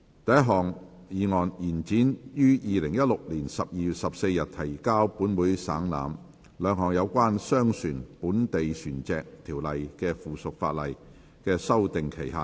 第一項議案：延展於2016年12月14日提交本會省覽，兩項有關《商船條例》的附屬法例的修訂期限。